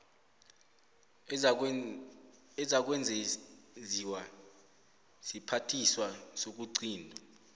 ezakwenziwa siphathiswa sokuquntwa